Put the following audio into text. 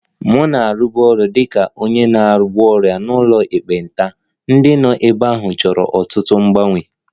M na-arụbu ọrụ dị ka onye na-agwọ ọrịa n'ụlọ ekpenta, ndị nọ ebe ahụ chọrọ ọtụtụ mgbanwe